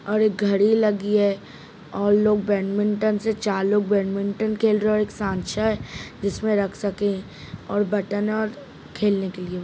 और एक घड़ी लगी है और लोग बैडमिंटन से चार लोग बैडमिंटन खेल रहे है एक साँचा है जिसमे रख सके और बटन और खेलने की लिए।